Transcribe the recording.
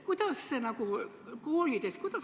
Kuidas sellega koolides on?